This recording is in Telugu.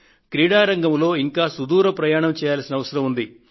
క్రీడారంగంలో ఇంకా సుదూర ప్రయాణం చేయాల్సిన అవసరం ఉంది